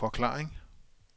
forklaring